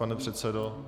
Pane předsedo.